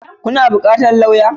Kuna buƙatar lauya?